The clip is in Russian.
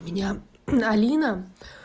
меня алина